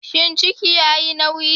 Shin ciki yayi nauyi?